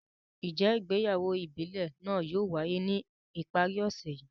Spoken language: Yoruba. Njẹ ìgbéyàwó ìbílè naa yóò waye ni ipari ọsẹ yii?